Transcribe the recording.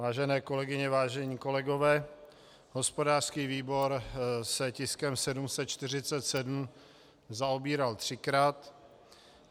Vážené kolegyně, vážení kolegové, hospodářský výbor se tiskem 747 zaobíral třikrát.